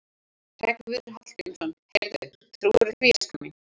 Hreggviður Hallgrímsson: Heyrðu, trúirðu því, elskan mín?